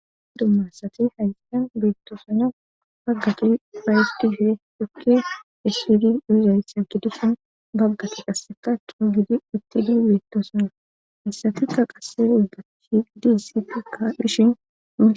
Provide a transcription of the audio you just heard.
dumma ssati haysan beettosona baggati ufayetif dhukke essidi uizayssan gidusun baggati qasseka tu gidi uttidi beettosona hessatikka qasse ubbat diissitikka bishin